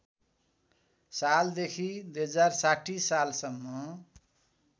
सालदेखि २०६० सालसम्म